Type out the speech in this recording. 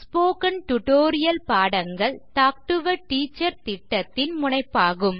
spoken tutorial பாடங்கள் talk to a teacher திட்டத்தின் முனைப்பாகும்